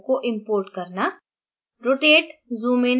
database से अणुओ को import करना